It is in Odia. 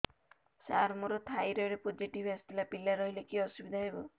ସାର ମୋର ଥାଇରଏଡ଼ ପୋଜିଟିଭ ଆସିଥିଲା ପିଲା ରହିଲେ କି ଅସୁବିଧା ହେବ